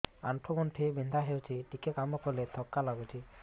ଆଣ୍ଠୁ ଗଣ୍ଠି ବିନ୍ଧା ହେଉଛି ଟିକେ କାମ କଲେ ଥକ୍କା ଲାଗୁଚି